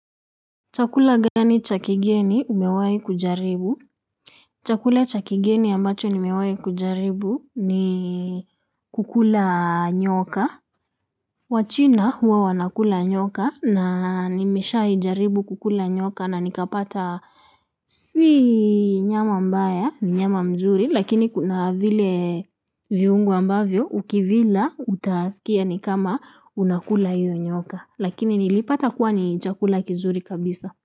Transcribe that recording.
Chakula gani cha kigeni umewahi kujaribu? Chakula cha kigeni ambacho umewahi kujaribu ni kukula nyoka. Wachina huwa wanakula nyoka na nimeshawahijaribu kukula nyoka na nikapata si nyama mbaya ni nyama nzuri lakini kuna vile viungo ambavyo ukivila utaskia ni kama unakula hiyo nyoka lakini nilipata kuwa ni chakula kizuri kabisa.